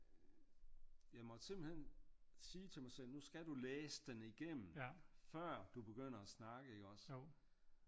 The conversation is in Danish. Jeg måtte simpelthen sige til mig selv nu skal du læse den igennem før du begynder at snakke ikke også?